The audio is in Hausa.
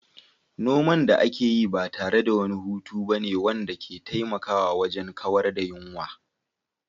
Noman da ake yi ba tare da wani hutu ba ne wanda ke taimakawa wajen kawar da yunwa.